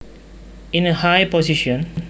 In a high position